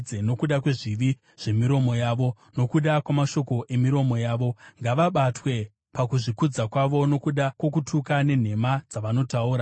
Nokuda kwezvivi zvemiromo yavo, nokuda kwamashoko emiromo yavo, ngavabatwe pakuzvikudza kwavo. Nokuda kwokutuka nenhema dzavanotaura,